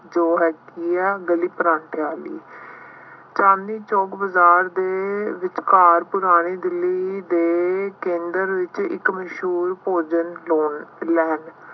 ਜੋ ਹੈ ਕੀ ਹੈ ਗਲੀ ਪਰਾਂਠਿਆਂ ਵਾਲੀ। ਚਾਂਦਨੀ ਚੌਂਕ ਬਾਜ਼ਾਰ ਦੇ ਵਿਚਕਾਰ ਪੁਰਾਣੀ ਦਿੱਲੀ ਦੇ ਕੇਂਦਰ ਵਿੱਚ ਇੱਕ ਮਸ਼ਹੂਰ ਭੋਜਨ loan land